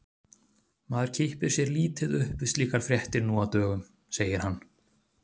Maður kippir sér lítið upp við slíkar fréttir nú á dögum, segir hann.